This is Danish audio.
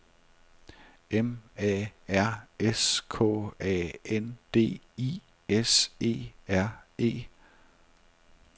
M A R S K A N D I S E R E